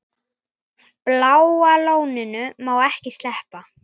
Bláa lóninu má ekki sleppa.